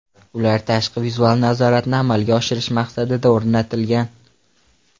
Ular tashqi vizual nazoratni amalga oshirish maqsadida o‘rnatilgan.